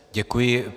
Děkuji.